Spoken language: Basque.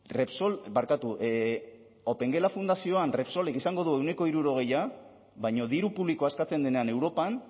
repsol barkatu opengela fundazioan repsolek izango du ehuneko hirurogei baina diru publikoa eskatzen denean europan